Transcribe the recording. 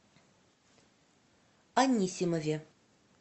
анисимове